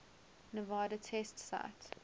nevada test site